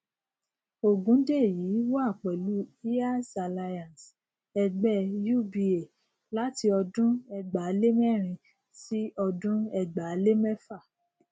ogundeyi wà pẹlú heirs alliance ẹgbẹ uba láti ọdún ẹgbàálemẹrin sí ọdún ẹgbàálémẹfa